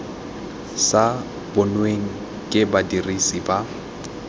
sa bonweng ke badirisi ba